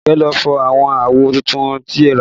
Aduke ló fọ́ àwọn àwo tuntun tí ẹ rà